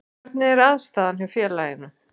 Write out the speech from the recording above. Hvernig er aðstaðan hjá félaginu?